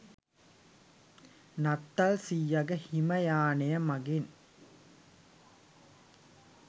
නත්තල් සීයගෙ හිම යානය මගින්